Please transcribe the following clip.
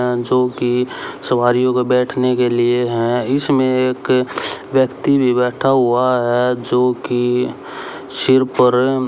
अह जो कि सवारियों को बैठने के लिए हैं इसमें एक व्यक्ति भी बैठा हुआ है जो कि सिर पर--